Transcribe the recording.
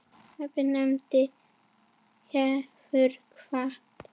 Afi nafni hefur kvatt.